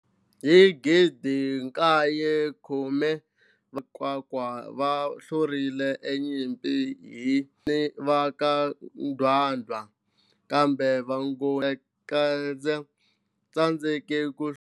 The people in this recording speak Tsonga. Hi 1820 va ka Makwakwa va hluriwile e Nyimpini hi Vangoni va ka Ndwandwe, kambe Vangoni va tsandzekile ku hlula Vacopi hi kokwalano a va nga pfumeli ku rhangeriwa hi Vangoni va ka Gaza.